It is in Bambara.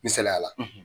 Misaliyala